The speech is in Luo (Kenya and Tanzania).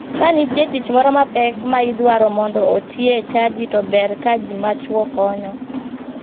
Kanitie tich moro mapek ma idwaro mondo otie e chadi to ber ka ji machuo konyo.